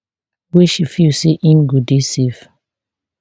wey she feel say im go dey safe